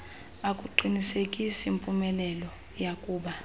akuqinisekisi mpumelelo yakuba